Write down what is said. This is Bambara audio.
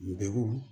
Degun